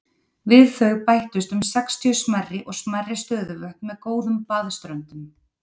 Við þau bættust um sextíu stærri og smærri stöðuvötn með góðum baðströndum.